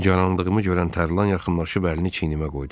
Nigaranlığımı görən Tərlan yaxınlaşıb əlini çiynimə qoydu.